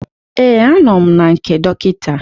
Ee, anọ m na nke dọkịta